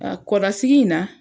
A kɔrɔ sigi in na.